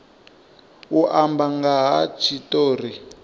u amba nga ha tshitori